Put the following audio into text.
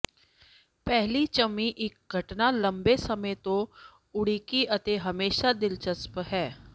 ਪਹਿਲੀ ਚੁੰਮੀ ਇੱਕ ਘਟਨਾ ਲੰਬੇ ਸਮੇਂ ਤੋਂ ਉਡੀਕੀ ਅਤੇ ਹਮੇਸ਼ਾ ਦਿਲਚਸਪ ਹੈ